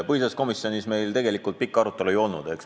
Põhiseaduskomisjonis meil tegelikult pikka arutelu ei olnud.